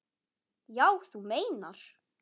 Já, þú meinar.